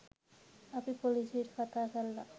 අපි පොලිසියට කතා කරල